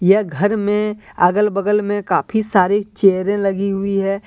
यह घर में अगल बगल में काफी सारी चेयरें लगी हुई है।